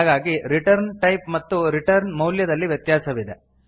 ಹಾಗಾಗಿ return type ಮತ್ತು return ಮೌಲ್ಯದಲ್ಲಿ ವ್ಯತ್ಯಾಸವಿದೆ